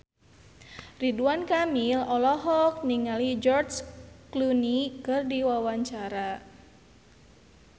Ridwan Kamil olohok ningali George Clooney keur diwawancara